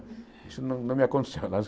Isso não não me aconteceu.